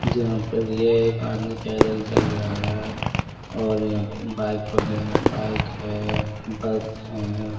यहां पर यह एक आदमी पैदल चल रहा है और यह बाइक वगैरह बाइक है बस हैं।